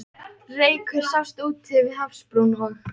Reykur sást úti við hafsbrún, og